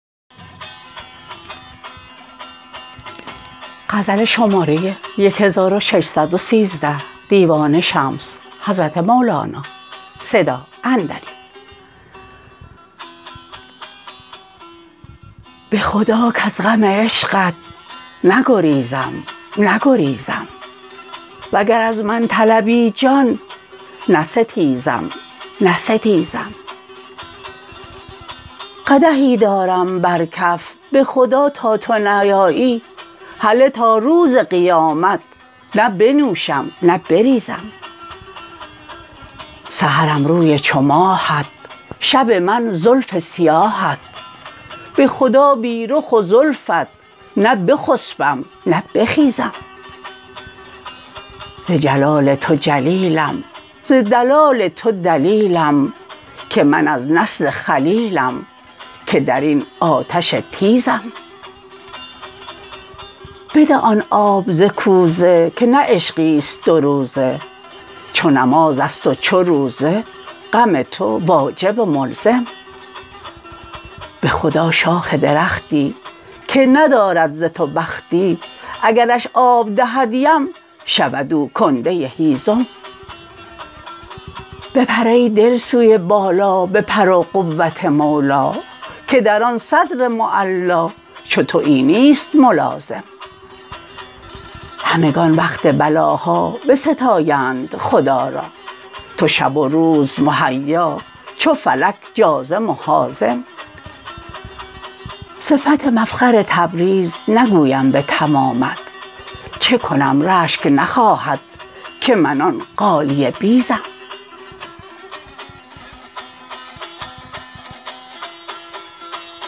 به خدا کز غم عشقت نگریزم نگریزم وگر از من طلبی جان نستیزم نستیزم قدحی دارم بر کف به خدا تا تو نیایی هله تا روز قیامت نه بنوشم نه بریزم سحرم روی چو ماهت شب من زلف سیاهت به خدا بی رخ و زلفت نه بخسبم نه بخیزم ز جلال تو جلیلم ز دلال تو دلیلم که من از نسل خلیلم که در این آتش تیزم بده آن آب ز کوزه که نه عشقی است دوروزه چو نماز است و چو روزه غم تو واجب و ملزم به خدا شاخ درختی که ندارد ز تو بختی اگرش آب دهد یم شود او کنده هیزم بپر ای دل سوی بالا به پر و قوت مولا که در آن صدر معلا چو توی نیست ملازم همگان وقت بلاها بستایند خدا را تو شب و روز مهیا چو فلک جازم و حازم صفت مفخر تبریز نگویم به تمامت چه کنم رشک نخواهد که من آن غالیه بیزم